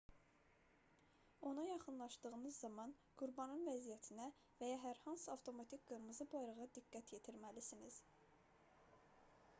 ona yaxınlaşdığınız zaman qurbanın vəziyyətinə və ya hər hansı avtomatik qırmızı bayrağa diqqət yetirməlisiniz